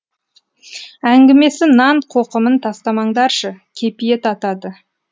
әңгімесі нан қоқымын тастамаңдаршы кепиет атады